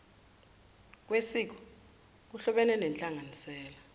kwesiko kuhlobene nenhlanganisela